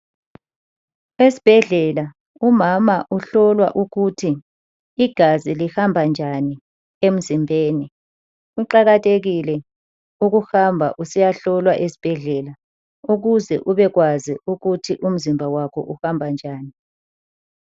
Esibhedlela umama uhlolwa ukuthi igazi lihamba njani emzimbeni kuqakathekile ukuhamba usiyahlolwa esibhedlela ukuze ubekwazi ukuthi umzimba wakho uhamba njani.